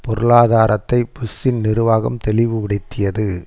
பொருளாதாரத்தை புஷ்ஷின் நிர்வாகம் தெளிவுபடுத்தியது